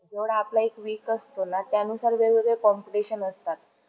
एवढा आपला एक week असतो ना, त्यानुसार वेगवेगळ competition असतात.